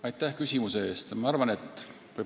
Aitäh küsimuse eest!